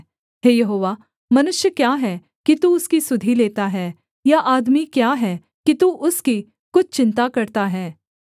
हे यहोवा मनुष्य क्या है कि तू उसकी सुधि लेता है या आदमी क्या है कि तू उसकी कुछ चिन्ता करता है